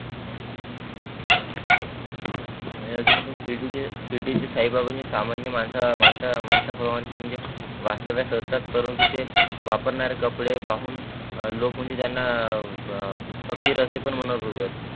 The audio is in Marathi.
आणि अजून शिर्डीचे जे शिर्डीचे साई बाबा जे सामान्य मानसा मानसा प्रमानचे म्हणजे वास्तव्यात असतात परंतु ते वापरणारे कपडे पाहून लोक म्हणजे त्यांना फकीर असे पण म्हणत होते.